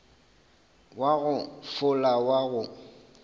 wa go fola wa go